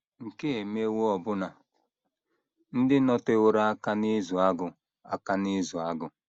Nke a emewo ọbụna ndị nọteworo aka n’ịzụ agụ aka n’ịzụ agụ.